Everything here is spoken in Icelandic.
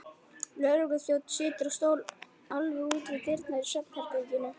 Lögregluþjónn situr á stól alveg úti við dyr í svefnherberginu.